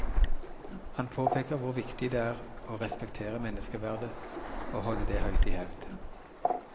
Han påpeker hvor viktig det er å respektere menneskeverdet og holde det høyt i hevd.